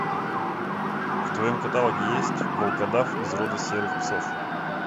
в твоем каталоге есть волкодав из рода серых псов